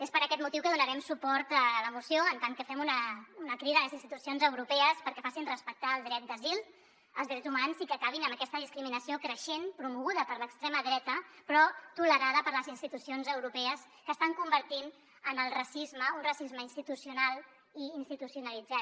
és per aquest motiu que donarem suport a la moció en tant que fem una crida a les institucions europees perquè facin respectar el dret d’asil els drets humans i que acabin amb aquesta discriminació creixent promoguda per l’extrema dreta però tolerada per les institucions europees que estan convertint en un racisme institucional i institucionalitzat